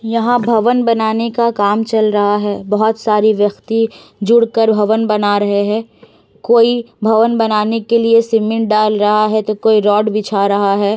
यहां भवन बनाने के काम चल रहा है। बहुत सारी व्यक्ति जुड़ कर भवन बना रहे हैं। कोई भवन बनाने के लिए सिमेन्ट डाल रहा है तो कोई रोड बिछा रहा है।